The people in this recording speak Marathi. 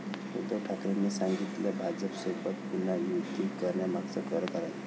उद्धव ठाकरेंनी सांगितलं भाजपसोबत पुन्हा युती करण्यामागचं खरं कारण!